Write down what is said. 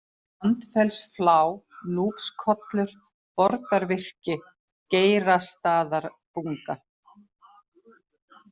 Sandfellsflá, Núpskollur, Borgarvirki, Geirastaðabunga